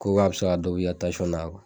Ko k'a bɛ se ka dɔ bɔ i ka na